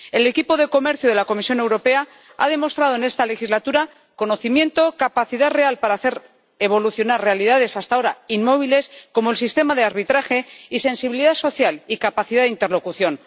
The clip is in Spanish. El equipo de comercio de la Comisión Europea ha demostrado en esta legislatura conocimiento, capacidad real para hacer evolucionar realidades hasta ahora inmóviles —como el sistema de arbitraje— y sensibilidad social y capacidad de interlocución.